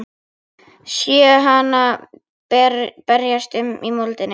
Sé hana berjast um í moldinni.